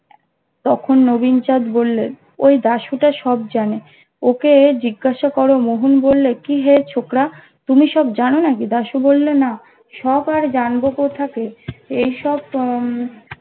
তখুন নবীন চাঁদ বললেন ওই দাশু তা সব জানে ওকে জিজ্ঞাসা করো মোহন বললে কিহে ছোকড়া তুমি সব জানো নাকি দাসু বললো না সব আর জানবো কোথাতে এসব তো উম